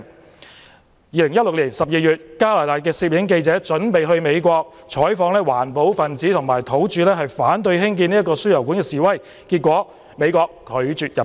在2016年12月，加拿大攝影記者準備前往美國，採訪環保分子和土著反對興建輸油管示威事件，被美國拒絕入境。